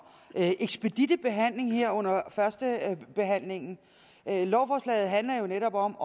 ekspeditte behandling her under førstebehandlingen lovforslaget handler jo netop om